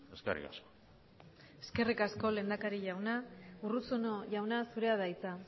eskerrik asko eskerrik asko lehendakari jauna urruzuno jauna zurea da hitza